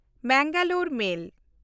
Mangalore ᱢᱮᱞ